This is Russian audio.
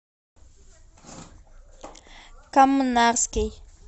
коммунарский